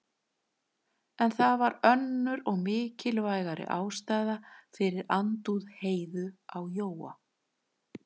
En það var önnur og mikilvægari ástæða fyrir andúð Heiðu á Jóa.